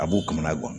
A b'u kamana gan